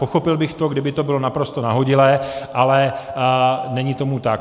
Pochopil bych to, kdyby to bylo naprosto nahodilé, ale není tomu tak.